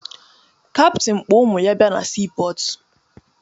Kaptịn kpọ ụmụ ya bịa na siipọọtụ